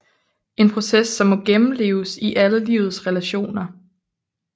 En proces som må gennemleves i alle livets relationer